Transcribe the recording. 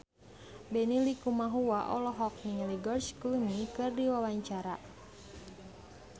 Benny Likumahua olohok ningali George Clooney keur diwawancara